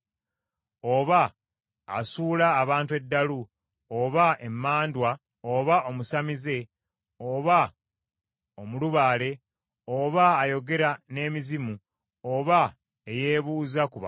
oba asuula abantu eddalu, oba emmandwa, oba omusamize, oba omulubaale, oba ayogera n’emizimu, oba eyeebuuza ku baafa.